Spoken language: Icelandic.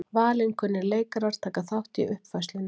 Valinkunnir leikarar taka þátt í uppfærslunni